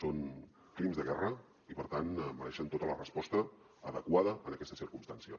són crims de guerra i per tant mereixen tota la resposta adequada en aquesta circumstància